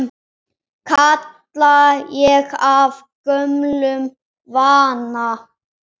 kalla ég af gömlum vana.